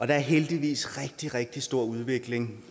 er heldigvis rigtig rigtig stor udvikling